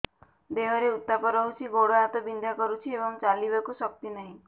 ଦେହରେ ଉତାପ ରହୁଛି ଗୋଡ଼ ହାତ ବିନ୍ଧା କରୁଛି ଏବଂ ଚାଲିବାକୁ ଶକ୍ତି ନାହିଁ